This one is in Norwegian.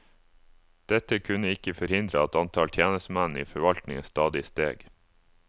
Dette kunne ikke forhindre at antall tjenestemenn i forvaltningen stadig steg.